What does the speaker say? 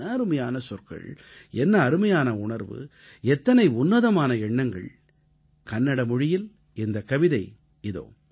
என்ன அருமையான சொற்கள் என்ன அருமையான உணர்வு எத்தனை உன்னதமான எண்ணங்கள் கன்னட மொழியில் இந்தக் கவிதை இதோ